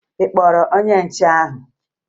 Ị kpọrọ onye nche ahụ?